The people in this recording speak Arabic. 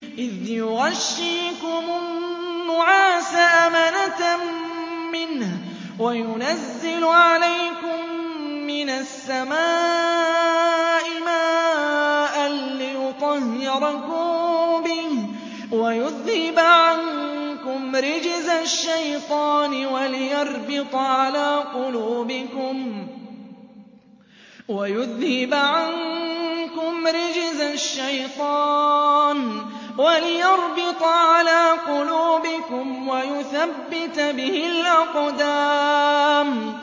إِذْ يُغَشِّيكُمُ النُّعَاسَ أَمَنَةً مِّنْهُ وَيُنَزِّلُ عَلَيْكُم مِّنَ السَّمَاءِ مَاءً لِّيُطَهِّرَكُم بِهِ وَيُذْهِبَ عَنكُمْ رِجْزَ الشَّيْطَانِ وَلِيَرْبِطَ عَلَىٰ قُلُوبِكُمْ وَيُثَبِّتَ بِهِ الْأَقْدَامَ